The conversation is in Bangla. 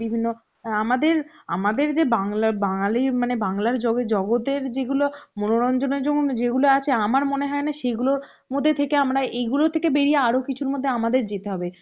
বিভিন্ন অ্যাঁ আমাদের আমাদের যে বাংলা~ বাঙাললির মানে বাংলার জগতের যেই গুলো মনোরঞ্জনের জন্য যেগুলো আছে আমার মনে হয় না সেগুলোর মধ্যে থেকে আমরা এগুলো থেকে বেরিয়ে আরো কিছুর মধ্যে আমাদের যেতে হবে